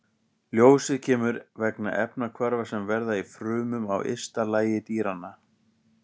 Ljósið kemur vegna efnahvarfa sem verða í frumum á ysta lagi dýranna.